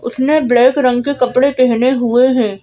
उसने ब्लैक रंग के कपड़े पहने हुए हैं।